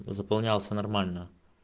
заполнялся нормально